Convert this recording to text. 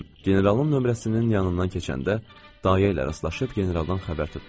Generalın nömrəsinin yanından keçəndə dayayıla rastlaşıb generaldan xəbər tutdum.